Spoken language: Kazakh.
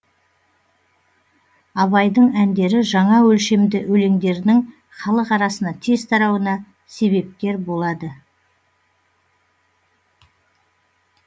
абайдың әндері жаңа өлшемді өлеңдерінің халық арасына тез тарауына себепкер болады